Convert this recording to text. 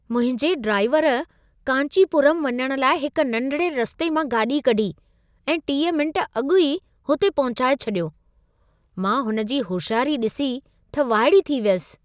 मुंहिंजे ड्राइवर कांचीपुरम वञण लाइ हिक नंढिड़े रस्ते मां गाॾी कढी ऐं 30 मिंट अॻु ई हुते पहुचाए छॾियो! मां हुन जी हुशियारी ॾिसीए त वाइड़ी थी वियसि।